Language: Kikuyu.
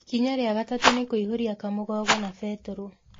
Ikinya rĩa gatatũ nĩ kũiyũria kamũgogoo na betũrũ.